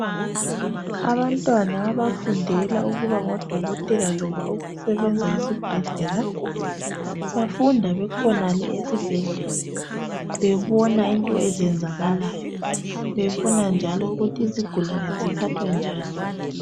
Abantwana abafundela ukuba ngodokotela loba ukusebenza esibhedlela bafunda bekhonale esibhedlela bebona into ezenzakalayo bebona njalo ukuthi izigulane ziphathwa njani.